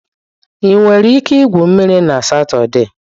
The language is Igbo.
Ị nwere ike igwu mmiri na Satọde.